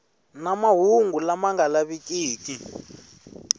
na mahungu lama nga lavikiki